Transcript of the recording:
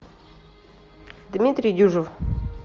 дмитрий дюжев